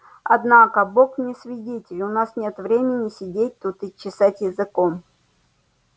однако бог мне свидетель у нас нет времени сидеть тут и чесать языком